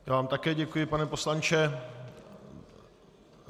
Já vám také děkuji, pane poslanče.